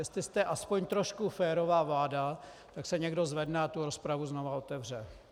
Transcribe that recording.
Jestli jste aspoň trochu férová vláda, tak se někdo zvedne a tu rozpravu znovu otevře.